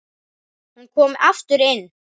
Hún kom aftur inn